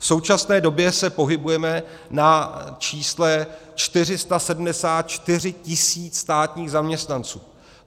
V současné době se pohybujeme na čísle 474 tis. státních zaměstnanců.